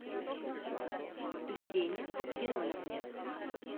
елене германовне